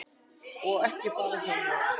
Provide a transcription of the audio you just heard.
Og ekki bara hjá mér.